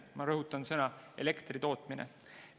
Ma rõhutan – elektri tootmine.